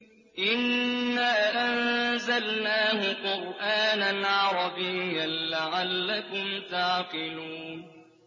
إِنَّا أَنزَلْنَاهُ قُرْآنًا عَرَبِيًّا لَّعَلَّكُمْ تَعْقِلُونَ